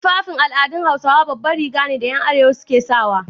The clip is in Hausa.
Tufafin al'adun Hausawa baban Riga ne da 'yan arewa ke sanyawa.